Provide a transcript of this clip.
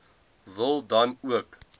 wil dan ook